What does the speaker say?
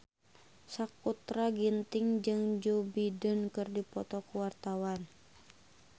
Sakutra Ginting jeung Joe Biden keur dipoto ku wartawan